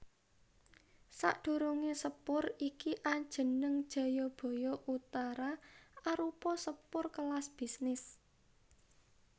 Sadurungé sepur iki ajeneng Jayabaya Utara arupa sepur kelas bisnis